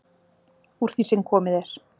Úr því sem komið er.